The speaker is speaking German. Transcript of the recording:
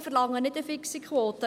Ich verlange keine fixe Quote.